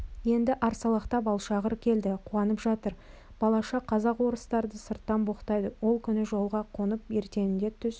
енді арсалақтап алшағыр келді қуанып жатыр балаша казак-орыстарды сырттан боқтайды ол күні жолға қонып ертеңінде түс